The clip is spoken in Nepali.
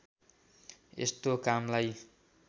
यस्तो कामलाई